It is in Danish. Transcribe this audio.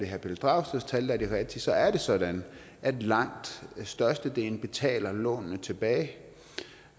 herre pelle dragsteds tal der er de rigtige så er det sådan at langt størstedelen betaler lånene tilbage